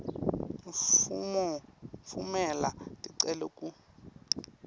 tfumela ticelo ku